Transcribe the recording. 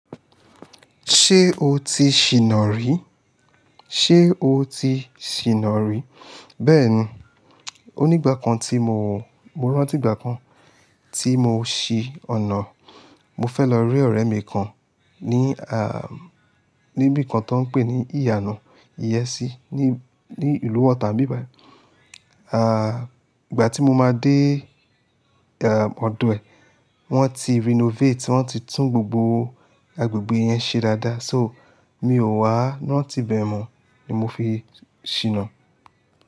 Ṣé o ti ṣìnà rí? Ṣé o ti ṣìnà rí? Bẹ́ẹ̀ni, onígbà kan tí mo, mo rántí ìgbà kan tí mo ṣí ọ̀nà, mo fẹ́ lọ rí ọ̀rẹ́ mi kan ní, ah, níbí kan tó ń pè ní ìyànú ìyẹ́sí ní, ní ìlú Ota bíbà. Ah, ìgbà tí mo máa dé, ah, ọdọ̀ ẹ̀, wọ́n ti renovate, wọ́n ti tún gbogbo agbègbè yẹn ṣe dáadáa. So, mi ò wá, rántí ibẹ̀ mọ ni mo fi ṣìnà.